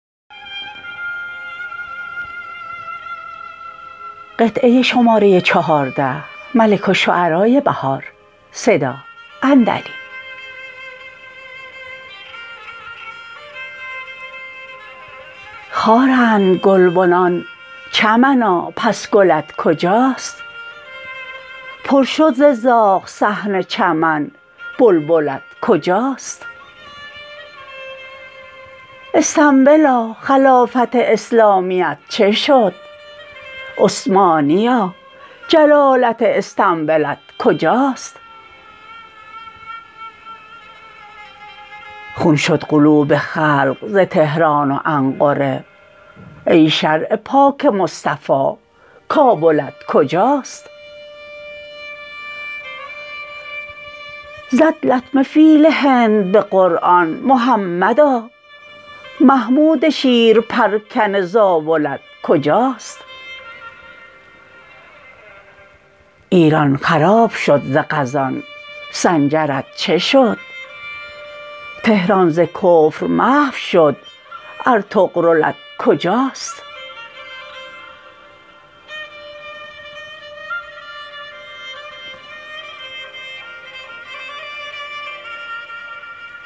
خارندگلبنان چمنا پس گلت کجاست پر شد ز زاغ صحن چمن بلبلت کجاست استنبلا خلافت اسلامیت چه شد عثمانیا جلالت استنبلت کجاست خون شد قلوب خلق زتهران وانقره ای شرع پاک مصطفوی کابلت کجاست زد لطمه فیل هند به قرآن محمدا محمود شیر پرکنه زاولت کجاست ایران خراب شد ز غزان سنجرت چه شد تهران زکفر محو شد ار طغرلت کجاست